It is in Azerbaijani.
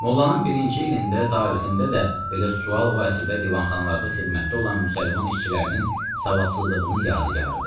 Mollanın birinci ilində, tarixində də belə sual o əsrdə divanxanalarda xidmətdə olan müsəlman işçilərinin savadsızlığının yadigarıdır.